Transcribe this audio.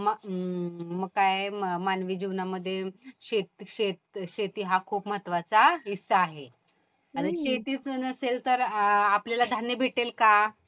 हम्म मग काय मानवी जीवनामध्ये शेती हा खूप महत्वाचा हिस्सा आहे. आणि शेतीच जर नसेल तर आपल्याला धान्य भेटेल का?